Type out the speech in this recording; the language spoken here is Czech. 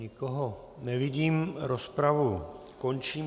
Nikoho nevidím, rozpravu končím.